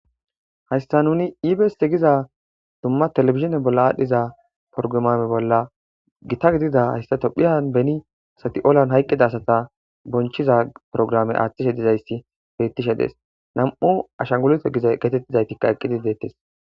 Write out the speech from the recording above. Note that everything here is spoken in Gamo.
Haayissa nunni ebs giida dumma tevelvejinne adhdhiza porggiram bolla gitta gididia tophphiya beeni asati ollan hayyiqiza asatti bonichchiza programe attishshe dizayssia beeththishe desi namuu ashshangullute geteththiday eqqidi deeththesi